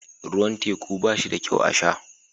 Ruwan teku ba shi da kyau a sha